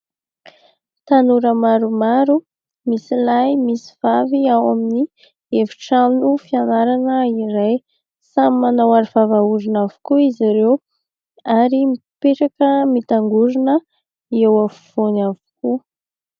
Tanora maromaro, misy lahy, misy vavy ao amin'ny efitrano fianarana iray, samy manao aro vava orona avokoa izy ireo ary mipetraka mitangorona eo afovoany avokoa.